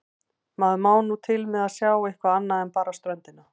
Maður má nú til með að sjá eitthvað annað en bara ströndina.